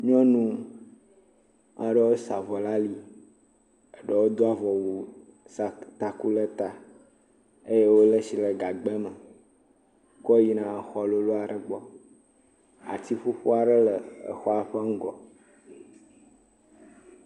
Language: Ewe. Nyɔnu aɖewo sa avɔ ɖe ali, eɖwo do avɔwu sa taku ɖe ta eye wole tsi ɖe gagba me ku yina xɔ lolo aɖe gbɔ ati ƒuƒu aɖe le xɔa ƒe ŋgɔ.